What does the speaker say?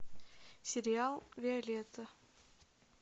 сериал виолетта